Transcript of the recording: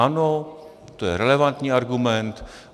Ano, to je relevantní argument.